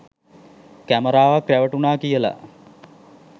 කැමරාවක් රැවටුණා කියලා?